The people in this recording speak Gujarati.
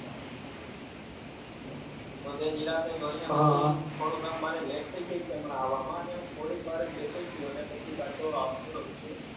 તો તે નિરાંતે જોઈ ને પછી થોડુક આમ મારે late થઈ જાય છે હમણાં આવવા માં થોડીક વાર જ બેસું છે અને પછી પાછો આવતો રહું છુ.